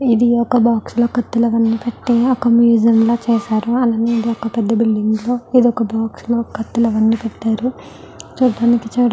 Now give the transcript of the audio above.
ఇది ఒక బాక్స్ లాగా కట్టి ఒక మ్యుసియం లాగా చేశారు. అలాగే ఇదొక పెద్ద బిల్డింగ్ లో ఇదొక బాక్స్ లో కత్తులు అవన్నీ పెట్టారు. చూడటానికి చాలా--